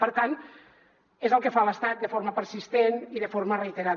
per tant és el que fa l’estat de forma persistent i de forma reiterada